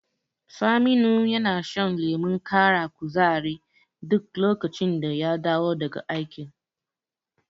Saminu yana shan lemon ƙara kuzari duk lokacin da ya dawo daga aiki.